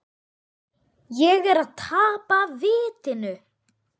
Er ég að tapa vitinu?